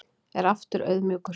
Er aftur auðmjúkur